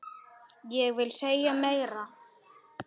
Ég vil ei segja meira.